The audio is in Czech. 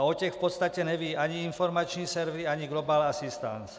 A o těch v podstatě nevědí ani informační servery ani Global Assistance.